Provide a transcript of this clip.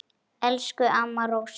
Elsku amma Rósa.